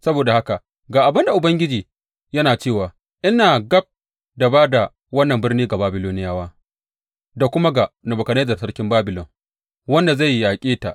Saboda haka, ga abin da Ubangiji yana cewa, ina gab da ba da wannan birni ga Babiloniyawa da kuma ga Nebukadnezzar sarkin Babilon, wanda zai yaƙe ta.